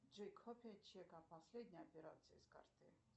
джой копия чека последней операции с карты